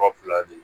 Ka fila fila di